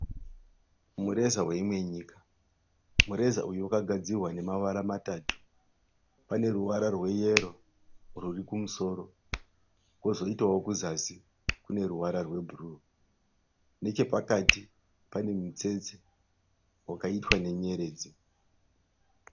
Mureza weimwe nyika. Mureza uyu wakagadzirwa nemavara matatu. Paneruvara rweyero rurikumusoro kuzoitawo kuzasi kuneruvara rwebhuru. Nechepakati panemutsetse wakaitwa nenyeredzi.